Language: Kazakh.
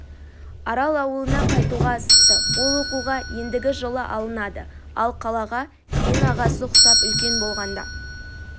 арал ауылына қайтуға асықты ол оқуға ендігі жылы алынады ал қалаға кейін ағасы құсап үлкен болғанда